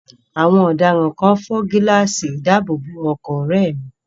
Àwọn ọ̀daràn kan fọ́ gíláàsì ìdáàbòbọ̀ ọkọ̀ ọ̀rẹ́ẹ̀ mi.